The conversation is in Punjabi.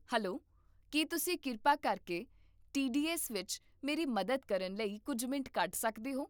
ਹੈਲੋ, ਕੀ ਤੁਸੀਂ ਕਿਰਪਾ ਕਰਕੇ ਟੀਡੀਐੱਸ ਵਿੱਚ ਮੇਰੀ ਮਦਦ ਕਰਨ ਲਈ ਕੁੱਝ ਮਿੰਟ ਕੱਢ ਸਕਦੇ ਹੋ?